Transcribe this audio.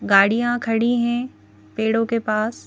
गाड़ियां खड़ी हैं पेड़ों के पास--